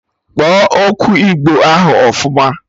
Kpọọ okwu igbo ahụ ọfụma!